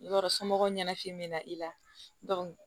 Yɔrɔ somɔgɔw ɲɛnafin bɛ na i la